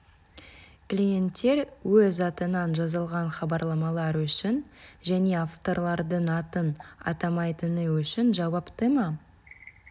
клиенттер өз атынан жазылған хабарламалар үшін және авторлардың атын атамайтыны үшін жауапты ма